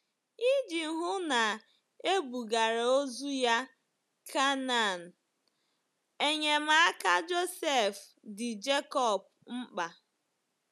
Iji hụ na e bugara ozu ya Canaan, enyemaka Josef dị Jekọb mkpa.